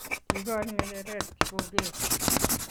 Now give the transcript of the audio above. Kiikoch ngecheret Kipokeo